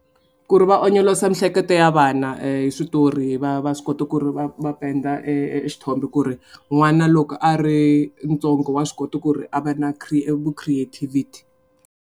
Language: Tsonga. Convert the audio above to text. Ku ri va onyolosa miehleketo ya vana hi switori va va swi kota ku ri va va penda e e xithombe ku ri n'wana loko a ri ntsongo wa swi kota ku ri a va na vu-creativity.